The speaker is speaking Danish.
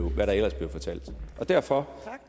hvad der ellers blev fortalt derfor